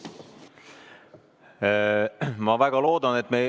Ma väga loodan, et me ...